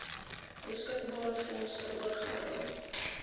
beskikbare fondse oorgedra